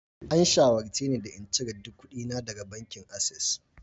An shawarce ni da in cire duk kuɗina daga bankin access